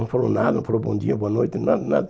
Não falou nada, não falou bom dia, boa noite, nada, nada.